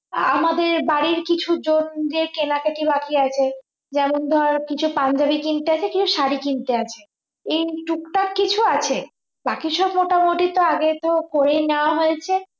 আমাদের বাড়ির কিছু জনদের কেনাকাটি বাকি আছে যেমন ধর কিছু পাঞ্জাবী কিনতে আছে কিছু শাড়ি কিনতে আছে এই টুকটাক কিছু আছে বাকি সব মোটামুটি তো আগে তো করেই নেয়া হয়েছে